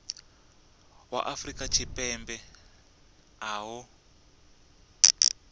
wa afrika tshipembe a ṱo